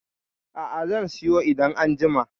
A'a, zan siyo idan an jima.